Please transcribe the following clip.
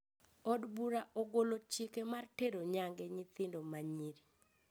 Od bura ogolo chike mar tero nyange nyithindo ma nyiri